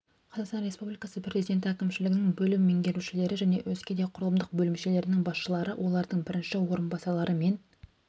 қазақстан республикасы президенті әкімшілігінің бөлім меңгерушілері және өзге де құрылымдық бөлімшелерінің басшылары олардың бірінші орынбасарлары мен